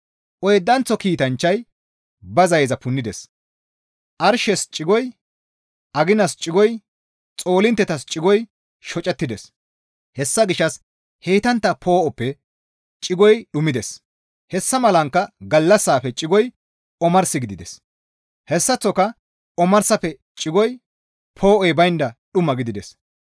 Oydanththo kiitanchchay ba zayeza punnides; arshes cigoy, aginas cigoy, xoolinttetas cigoy shocettides; hessa gishshas heytantta poo7oppe cigoy dhumides; hessa malankka gallassaafe cigoy omars gidides; hessaththoka omarsafe cigoy poo7oy baynda dhuma gidides.